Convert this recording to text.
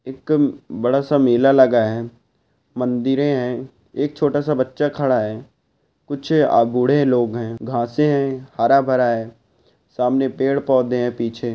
एक बड़ा सा मेला लगा हुआ। एक मंदिरे है। एक छोटा सा बच्चा खड़ा हुआ है। कुछे अभूदे लोग हैं। गासे हैं। हरा भरा है। सामने पेड़ पौधे है पीछे।